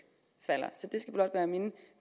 falder så det skal blot være mine